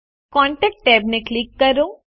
contact ટેબને click કરો